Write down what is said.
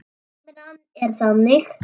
Limran er þannig